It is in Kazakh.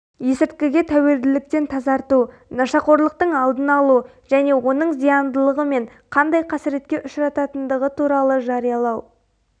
есірткіге тәуелділіктен тазарту нашақорлықтың алдын алу және оның зияндылығы мен қандай қасіретке ұшырататындығы туралы жариялау